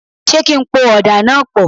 Ṣé kí n po ọ̀dà náà pọ̀?